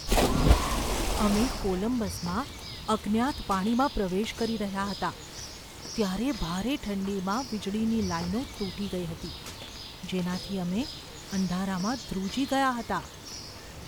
અમે કોલંબસમાં અજ્ઞાત પાણીમાં પ્રવેશ કરી રહ્યા હતા ત્યારે ભારે ઠંડીમાં વીજળીની લાઈનો તૂટી ગઈ હતી, જેનાથી અમે અંધારામાં ધ્રુજી ગયા હતા.